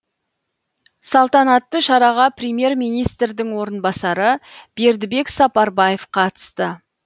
салтанатты шараға премьер министрдің орынбасары бердібек сапарбаев қатысты